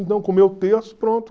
o terço, pronto.